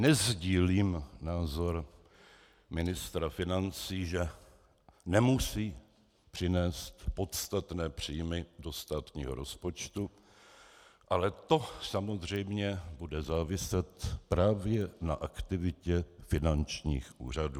Nesdílím názor ministra financí, že nemusí přinést podstatné příjmy do státního rozpočtu, ale to samozřejmě bude záviset právě na aktivitě finančních úřadů.